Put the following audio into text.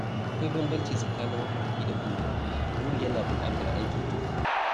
Akwai bambanci tsakanin mafarki da buri—buri yana buƙatar aiki tuƙuru.